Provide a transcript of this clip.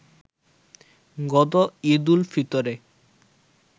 গত ঈদ-উল ফিতরে